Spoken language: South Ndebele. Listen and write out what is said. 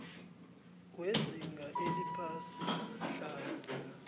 wezinga eliphasi hlala